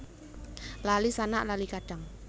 Lali sanak lali kadang